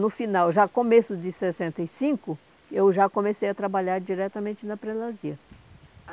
No final, já começo de sessenta e cinco, eu já comecei a trabalhar diretamente na prelasia.